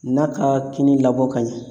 N'a ka kini labɔ ka ɲɛ